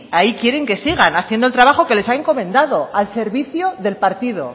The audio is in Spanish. ahí quieren que siga haciendo el trabajo que les ha encomendado al servicio del partido